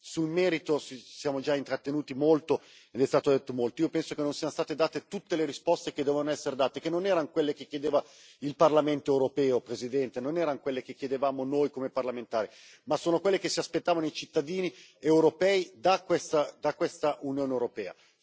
Sul merito ci siamo già intrattenuti molto ed è stato detto molto, ma io penso che non siano state date tutte le risposte che dovevano essere date, che non erano quelle che chiedeva il Parlamento europeo, signora Presidente, non erano quelle che chiedevamo noi come parlamentari, ma solo quelle che si aspettavano i cittadini europei da questa Unione europea.